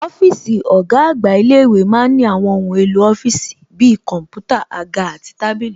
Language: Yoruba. Ọ́físì ọ̀gá àgbà ilé-ìwé ma ń ní àwọn ohun èlò ọ́fíìsì bi kọ̀ḿpútà, àga àti tábìlì